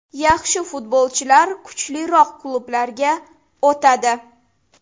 Yaxshi futbolchilar kuchliroq klublarga o‘tadi.